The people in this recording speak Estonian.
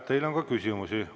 Teile on ka küsimusi.